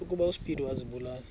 ukuba uspido azibulale